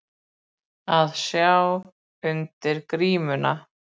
Að sjá undir grímuna